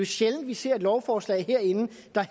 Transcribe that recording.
sjældent vi ser et lovforslag herinde det